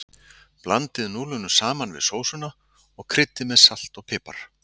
Blandið núðlunum saman við sósuna og kryddið með salti og pipar.